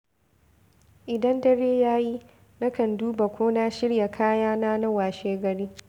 Idan dare ya yi, na kan duba ko na shirya kayana na washegari.